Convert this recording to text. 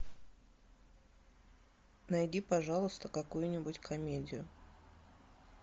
найди пожалуйста какую нибудь комедию